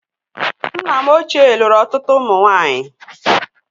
Nna m ochie lụrụ ọtụtụ ụmụ nwaanyị